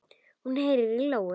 Hún heyrir í lóu.